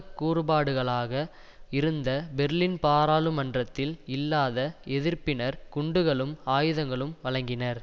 கூறுபாடுகளாக இருந்த பெர்லின் பாராளுமன்றத்தில் இல்லாத எதிர்ப்பினர் குண்டுகளும் ஆயுதங்களும் வழங்கினர்